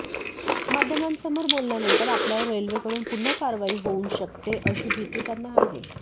माध्यमांसमोर बोलल्यानंतर आपल्यावर रेल्वेकडून पुन्हा कारवाई होऊन शकते अशी भीती त्यांना आहे